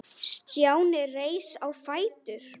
Stjáni reis á fætur.